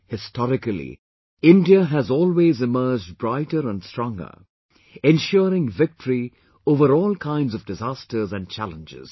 Historically, India has always emerged brighter and stronger, ensuring victory over all kinds of disasters and challenges